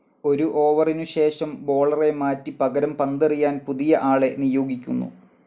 ഒരു ഓവറിനു ശേഷം ബോളറെ മാറ്റി പകരം പന്തെറിയാൻ പുതിയ ആളെ നിയോഗിക്കുന്നു.